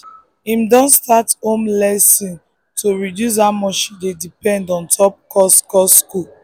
him don start home lesson to reduce how much him dey depend ontop cost cost school